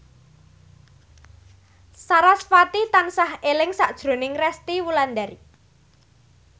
sarasvati tansah eling sakjroning Resty Wulandari